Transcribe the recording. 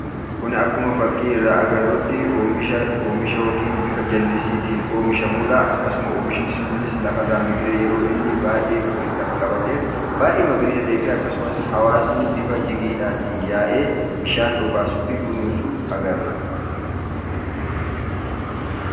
Kun akkuma fakkii irraa agarrutti oomisha yookiin bifa jallisiitiin oomishamudha. Akkasuma oomishni kunis lafarraa biqilee lafa qabatee baayyee magariisa ta'ee fi akkasumas hawaasni bifa jigiidhaan yaa'ee bishaan obaasuu fi kunuunsu agarra.